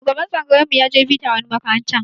Shugaban tsangayar mu ya je bita wani makarantar